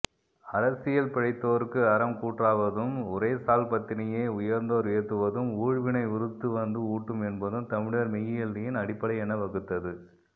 அரசியல்பிழைத்தோர்க்கு அறம் கூற்றாவதும் உரைசால்பத்தினியை உயர்ந்தோர் ஏத்துவதும் ஊழ்வினை உருத்துவந்து ஊட்டும் என்பதும் தமிழர் மெய்யியலின் அடிப்படை என வகுத்தது